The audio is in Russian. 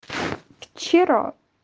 вчера